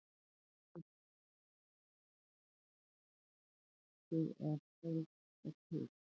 Lillý Valgerður Pétursdóttir: Brotnaði eitthvað hjá ykkur eða færðist eitthvað til?